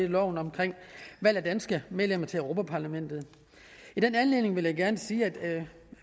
loven om valg af danske medlemmer til europa parlamentet i den anledning vil jeg gerne sige at